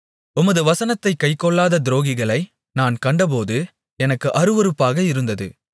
உமது வசனத்தைக் கைக்கொள்ளாத துரோகிகளை நான் கண்டபோது எனக்கு அருவருப்பாக இருந்தது